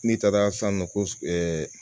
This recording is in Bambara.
N'i taara san nɔ ko